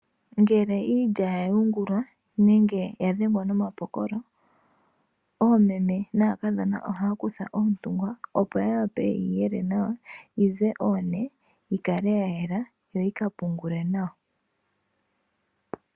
Ngele iilya ya yungulwa nenge ya dhengwa nomapokolo, oomeme naakadhona ohaa kutha oontungwa opo ya wape yeyi yele nawa yize oone yikale yayela yo yika pungulwe nawa.